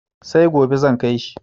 Sai gobe zan kai shi.